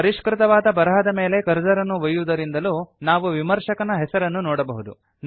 ಪರಿಷ್ಕೃತವಾದ ಬರಹದ ಮೇಲೆ ಕರ್ಸರ್ ಅನ್ನು ಒಯ್ಯುವುದರಿಂದಲೂ ನಾವು ವಿಮರ್ಶಕನ ಹೆಸರನ್ನು ನೋಡಬಹುದು